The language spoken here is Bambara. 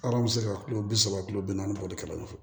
Arɔn bɛ se ka kulo bi saba kilo bi naani boli ka ɲɔn fo